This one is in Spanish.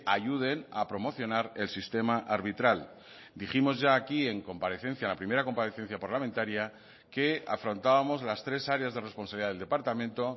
ayuden a promocionar el sistema arbitral dijimos ya aquí en comparecencia en la primera comparecencia parlamentaria que afrontábamos las tres áreas de responsabilidad del departamento